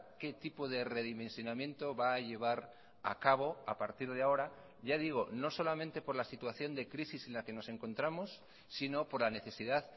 qué tipo de redimensionamiento va a llevar a cabo a partir de ahora ya digo no solamente por la situación de crisis en la que nos encontramos sino por la necesidad